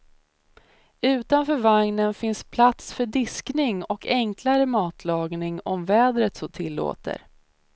Utanför vagnen finns plats för diskning och enklare matlagning om vädret så tillåter.